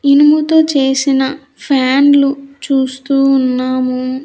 ఇనుముతో చేసిన ఫ్యాన్లు చూస్తూ ఉన్నాము.